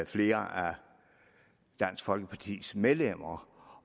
flere af dansk folkepartis medlemmer